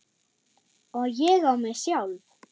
Og ég á mig sjálf!